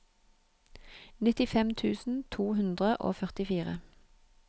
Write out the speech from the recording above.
nittifem tusen to hundre og førtifire